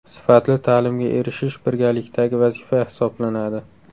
Sifatli ta’limga erishish birgalikdagi vazifa hisoblanadi.